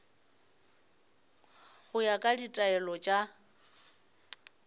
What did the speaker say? go ya ka ditaelo tša